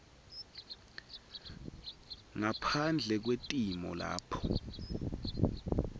ngaphandle kwetimo lapho